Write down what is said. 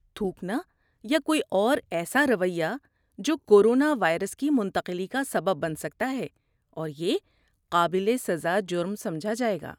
تھوکنا یا کوئی اور ایسا رویہ جو کورونا وائرس کی منتقلی کا سبب بن سکتا ہے اور یہ قابل سزا جرم سمجھا جائے گا۔